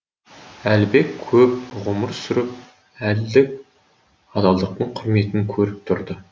әлібек көп ғұмыр сүріп әділдік адалдықтың құрметін көріп тұрды